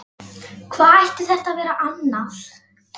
Hvað ætti þetta að vera annað?